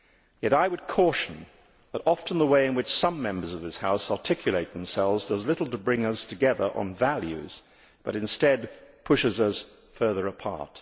Yet I would caution that often the way in which some Members of this House articulate themselves does little to bring us together on values but instead pushes us further apart.